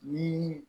Ni